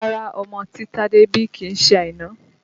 Rárá ọmọ tí Tade bí kìí ṣe Àìná